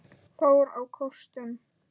fór á kostum.